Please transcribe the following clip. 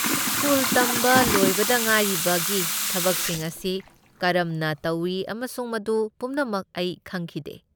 School ꯇꯝꯕ ꯂꯣꯏꯕꯗ ꯉꯥꯏꯔꯤꯕꯒꯤ ꯊꯕꯛꯁꯤꯡ ꯑꯁꯤ ꯀꯔꯝꯅ ꯇꯧꯏ ꯑꯃꯁꯨꯡ ꯃꯗꯨ ꯄꯨꯝꯅꯃꯛ ꯑꯩ ꯈꯪꯈꯤꯗꯦ꯫